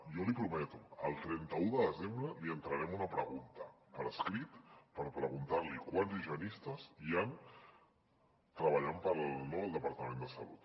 jo l’hi prometo el trenta un de desembre li entrarem una pregunta per escrit per preguntar li quants higienistes hi han treballant per al departament de salut